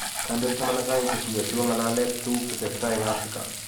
Kandoik taman ak aeng' kotuiyo si kong'alale tuguk che tesetai eng Afrika.